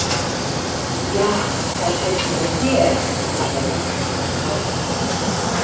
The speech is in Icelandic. Ja, það sést ekki á þér, sagði hún eftir smástund.